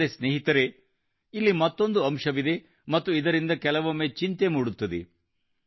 ಆದರೆ ಸ್ನೇಹಿತರೇ ಇಲ್ಲಿ ಮತ್ತೊಂದು ಅಂಶವಿದೆ ಮತ್ತು ಇದರಿಂದ ಕೆಲವೊಮ್ಮೆ ಚಿಂತೆ ಮೂಡುತ್ತದೆ